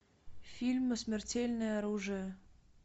фильм смертельное оружие